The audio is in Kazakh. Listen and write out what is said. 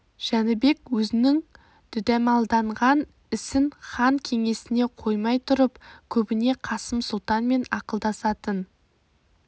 жәнібек өзінің дүдәмалданған ісін хан кеңесіне қоймай тұрып көбіне қасым сұлтанмен ақылдасатын